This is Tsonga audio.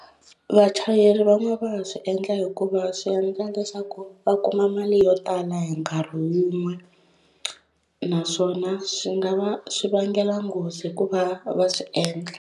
Vachayeri van'wani va ha swi endla hikuva swi endla leswaku va kuma mali yo tala hi nkarhi wun'we naswona swi nga va swi vangela nghozi hikuva va swi endla.